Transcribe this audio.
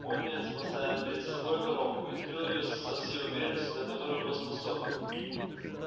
пониетс поставил перед собой коробку и открыл её со всей уверенностью на которую был способен